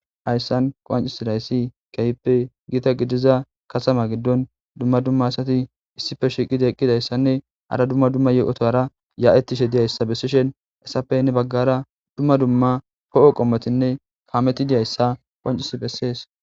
Hayssan qoancis layssi keyppe giita gidiza kasama giddon dumma dumma asati issife shiqida eqqidayssanne hara dumma dumma ye7otora yaa7etishe diyayssa bessishen essapenne baggara dumma dumma po7o qommotinne kaameti diyayssa qoancisi pessees